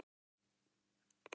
Sólin veitir birtu og yl.